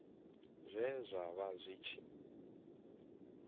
zwe zwa vha zwi tshi